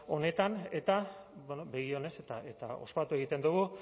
honetan eta begi onez eta spatu egiten dugu